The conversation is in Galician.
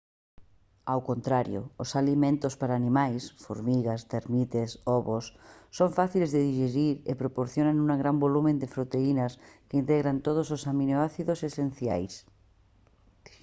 ao contrario os alimentos para animais formigas térmites ovos son fáciles de dixerir e proporcionan un gran volume de proteínas que integran todos os aminoácidos esenciais